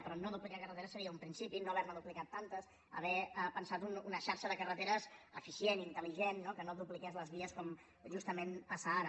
però no duplicar carreteres seria un principi no haver ne duplicades tantes haver pensat una xarxa de carreteres eficient intelque no dupliqués les vies com justament passa ara